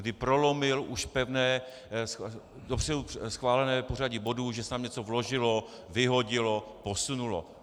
Kdy prolomil už pevné, dopředu schválené pořadí bodů, že se tam něco vložilo, vyhodilo, posunulo.